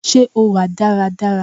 Ṣé o wà dára dára